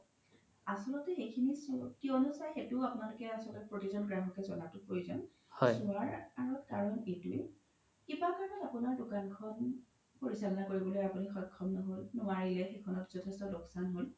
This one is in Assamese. আচল্তে সিখিনি কিয়নো চাই সেইটো আপোনাক লোক প্ৰতিজ্ন গ্ৰহকে জ্নাতো প্ৰয়োজন চোৱাৰ কাৰন এইতোৱে কিবা কাৰনত আপোনাৰ দুকানখন পৰিচাল্না কৰিবলৈ আপোনি সক্সম নোৱাৰি সেইখনত জথেস্ত লুক্চান হ্'ল